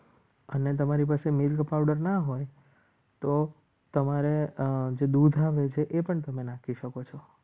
અને તમારી પાસે milk powder ના હોય તો તમારે જે દૂધ આવે છે એ પણ તમે નાખી શકો છો.